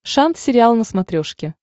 шант сериал на смотрешке